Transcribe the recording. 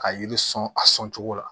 Ka yiri sɔn a sɔn cogo la